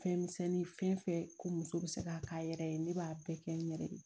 Fɛn misɛnnin fɛn fɛn ko muso bɛ se k'a k'a yɛrɛ ye ne b'a bɛɛ kɛ n yɛrɛ ye